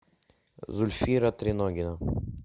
зульфира триногина